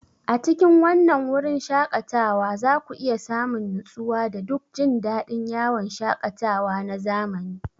A cikin wannan wurin shaƙatawa za ku iya samun nutsuwa da duk jin daɗin yawon shaƙatawa na zamani.